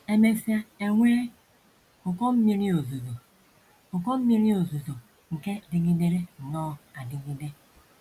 E mesịa, e nwee ụkọ mmiri ozuzo, ụkọ mmiri ozuzo nke dịgidere nnọọ adigide.